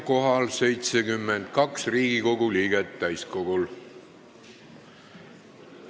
Kohaloleku kontroll Hetkel on täiskogul kohal 72 Riigikogu liiget.